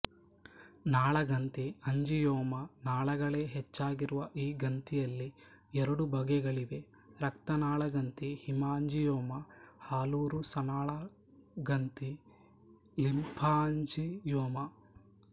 ನಾಳ ಗಂತಿ ಅಂಜಿಯೋಮ ನಾಳಗಳೇ ಹೆಚ್ಚಾಗಿರುವ ಈ ಗಂತಿಯಲ್ಲಿ ಎರಡು ಬಗೆಗಳಿವೆ ರಕ್ತನಾಳಗಂತಿ ಹೀಮಾಂಜಿಯೋಮ ಹಾಲುರಸನಾಳಗಂತಿ ಲಿಂಫಾಂಜಿಯೋಮ